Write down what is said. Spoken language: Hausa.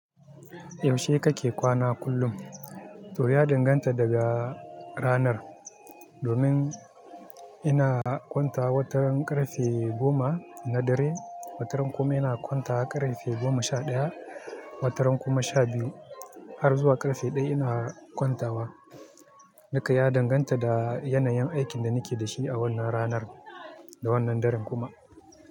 Yaushe kake kwana kullum? To ya danganta daga ranar. Domin ina kwanta watan ƙarfe goma na dare, watan kuma ina kwanta ƙarfe goma sha ɗaya, watan kuma sha biyu har zuwa ƙarfe ɗaya ina kwantawa. Nika ya danganta da yanayin aikin da nike da shi a wannan ranar da wannan daren kuma.